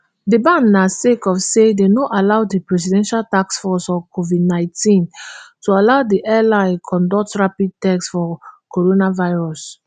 di ban na sake of say dem no allow di presidential taskforce on covidnineteen [ptf] to allow di airline conduct rapid test for coronavirus